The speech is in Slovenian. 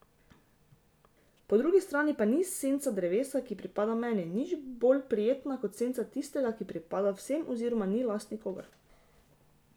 Po drugi strani pa ni senca drevesa, ki pripada meni, nič bolj prijetna kot senca tistega, ki pripada vsem oziroma ni last nikogar.